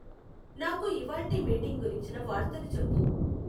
నాకు ఇవాళ్టి మీటింగ్ గురించిన వార్తలు చెప్పు